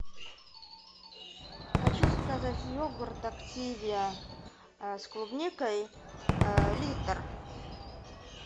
хочу заказать йогурт активиа с клубникой литр